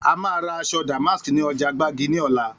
A máa ra aṣọ damask ni ọjà gbági ní ọ̀la